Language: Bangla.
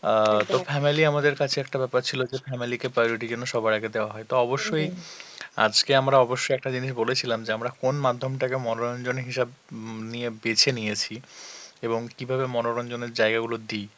অ্যাঁ তো family আমাদের কাছে একটা ব্যাপার ছিল যে family কে priority যেন সবার আগে দেওয়া হয়, তো অবশ্যই আজকে আমরা অবশ্যই একটা জিনিস বলেছিলাম যে আমরা কোন মাধ্যমটাকে মনোরঞ্জন হিসাবে নিয়ে উম বেছে নিয়েছি এবং কিভাবে মনোরঞ্জনের জায়গাগুলো দি